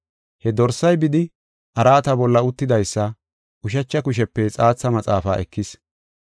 He Dorsay bidi, araata bolla uttidaysa ushacha kushepe xaatha maxaafaa ekis.